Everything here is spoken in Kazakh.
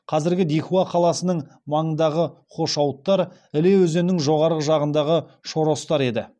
қазіргі дихуа қаласының маңындағы хошауыттар іле өзенінің жоғары жағындағы шоростар еді